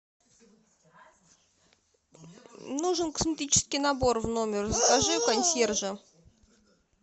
нужен косметический набор в номер закажи у консьержа